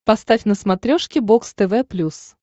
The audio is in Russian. поставь на смотрешке бокс тв плюс